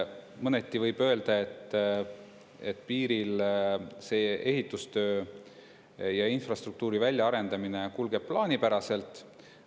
Mõneti võib öelda, et piiril see ehitustöö ja infrastruktuuri väljaarendamine kulgeb plaanipäraselt.